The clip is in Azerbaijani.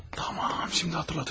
Tamam, şimdi xatırladım.